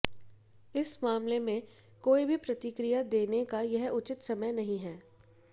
इस मामले में कोई भी प्रतिक्रिया देने का यह उचित समय नहीं है